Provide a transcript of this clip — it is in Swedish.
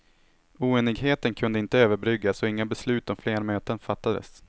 Oenigheten kunde inte överbryggas och inga beslut om fler möten fattades.